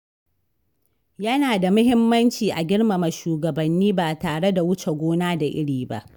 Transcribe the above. Yana da muhimmanci a girmama shugabanni ba tare da wuce gona da iri ba.